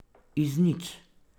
Iz nič.